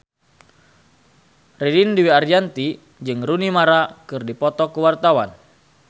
Ririn Dwi Ariyanti jeung Rooney Mara keur dipoto ku wartawan